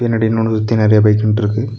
பின்னாடி இன்னொன்னு சுத்தி நறையா பைக் நின்ட்ருக்கு.